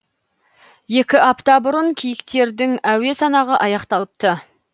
екі апта бұрын киіктердің әуе санағы аяқталыпты